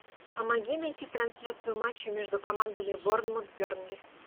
помоги найти трансляцию матча между командами борнмут бернли